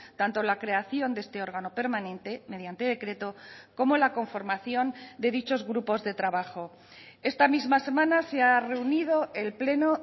tanto la creación de este órgano permanente mediante decreto como la conformación de dichos grupos de trabajo esta misma semana se ha reunido el pleno